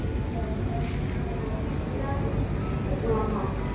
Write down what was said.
પછી ઘરે કે ના જઈશ.